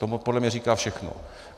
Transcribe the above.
To podle mě říká všechno.